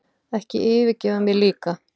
Ekki yfirgefa mig líka.